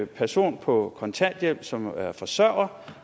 person på kontanthjælp som er forsørger